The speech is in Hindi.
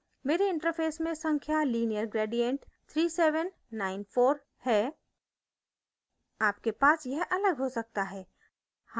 मेरे इंटरफैस में संख्या lineargradient3794 है आपके पास यह अलग हो सकता है